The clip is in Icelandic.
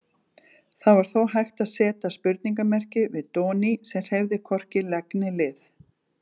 Það var þó hægt að seta spurningarmerki við Doni sem hreyfði hvorki legg né lið.